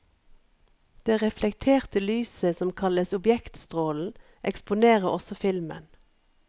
Det reflekterte lyset, som kalles objektstrålen, eksponerer også filmen.